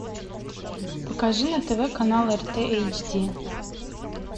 покажи на тв канал рт эйч ди